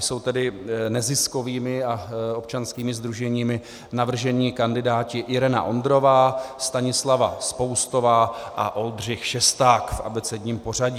Jsou tedy neziskovými a občanskými sdruženími navržení kandidáti Irena Ondrová, Stanislava Spoustová a Oldřich Šesták v abecedním pořadí.